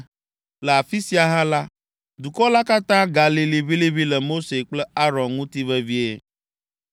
Le afi sia hã la, dukɔ la katã galĩ liʋĩliʋĩ le Mose kple Aron ŋuti vevie.